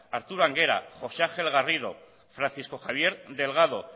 arturo anguera josé ángel garrido francisco javier delgado